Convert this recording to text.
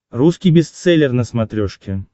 русский бестселлер на смотрешке